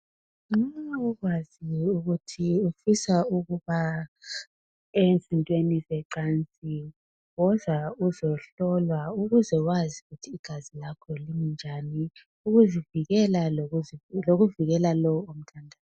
Nxa ukwazi ukuthi ufisa ukuba ezintweni ze cansini woza uzohlolwa ukuze wazi ukuthi igazi lakho linjani , ukuzivikela lokuvikelwa lonke .